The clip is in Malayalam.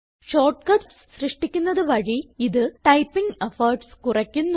ഷോർട്ട്കട്സ് സൃഷ്ടിക്കുന്നത് വഴി ഇത് ടൈപ്പിംഗ് എഫോർട്ട്സ് കുറയ്ക്കുന്നു